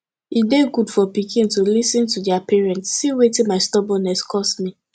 e dey good for pikin to lis ten to their parents see wetin my stubbornness cause me